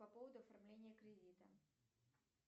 по поводу оформления кредита